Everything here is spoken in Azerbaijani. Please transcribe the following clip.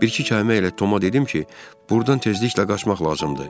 Bir-iki kəlmə ilə Toma dedim ki, burdan tezliklə qaçmaq lazımdır.